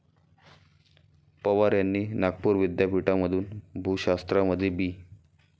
पवार यांनी नागपूर विद्यापीठामधून भूशास्त्रामध्ये बी.